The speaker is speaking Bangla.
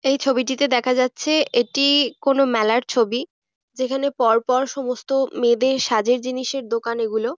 এই ছবিটিতে দেখা যাচ্ছে এটি-ই কোনো মেলার ছবি যেখানে পর পর সমস্ত মেয়েদের সাজের জিনিসের দোকান এগুলো।